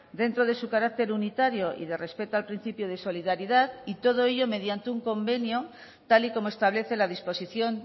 dentro de su carácter unitario y de respeto al principio de solidaridad y todo ello mediante un convenio tal y como establece la disposición